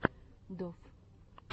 доф